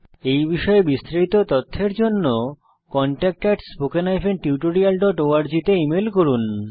এই বিষয়ে বিস্তারিত তথ্যের জন্য কনট্যাক্ট spoken tutorialorg তে ইমেল করুন